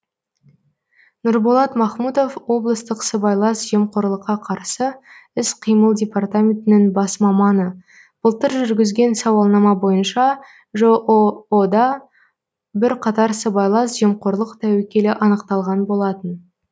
нұрболат махмутов облыстық сыбайлас жемқорлыққа қарсы іс қимыл департаментінің бас маманы былтыр жүргізген сауалнама бойынша жоо да бірқатар сыбайлас жемқорлық тәуекелі анықталған болатын